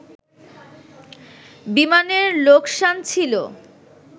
বিমানের লোকসান ছিল